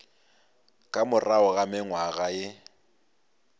ka morago ga mengwaga ye